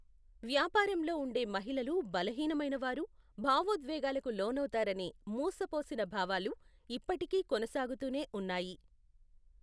వ్యాపారంలో ఉండే మహిళలు బలహీనమైనవారు, భావోద్వేగాలకు లోనవుతారనే మూసపోసిన భావాలు ఇప్పటికీ కొనసాగుతూనే ఉన్నాయి.